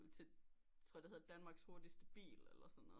Til tror det hedder danmarks hurtigelst bil eller sådan noget